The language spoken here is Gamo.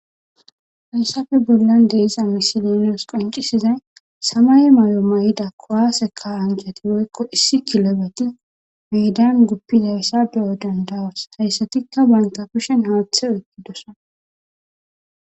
Hayssafe bollan deiza misilinos qoncisizay samay may7o ma7ida kowaaseka ancati woykko issi kilobeti meedan guppizayssa beyo dandawos hayssatikka bankapishen haathe oytidosona